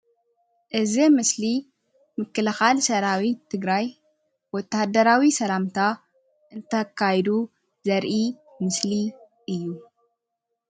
እዚ ምስሊ ምክልካል ሰራዊት ትግራይ ወታደራዊ ሰላምታ እንተካይዱ ዘርኢ ምስሊ እዩ፡፡